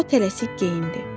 O tələsib geyindi.